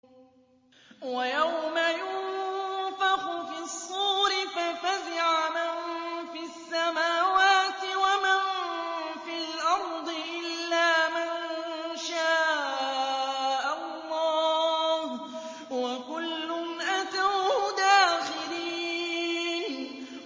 وَيَوْمَ يُنفَخُ فِي الصُّورِ فَفَزِعَ مَن فِي السَّمَاوَاتِ وَمَن فِي الْأَرْضِ إِلَّا مَن شَاءَ اللَّهُ ۚ وَكُلٌّ أَتَوْهُ دَاخِرِينَ